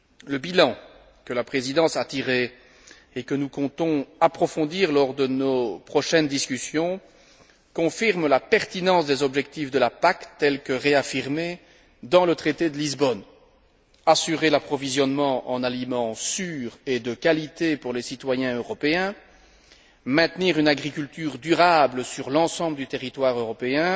Le bilan que la Présidence a tiré et que nous comptons approfondir lors de nos prochaines discussions, confirme la pertinence des objectifs de la PAC tels que réaffirmés dans le traité de Lisbonne assurer l'approvisionnement en aliments sûrs et de qualité pour les citoyens européens, maintenir une agriculture durable sur l'ensemble du territoire européen,